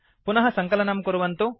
पुनः सङ्कलनं कुर्वन्तु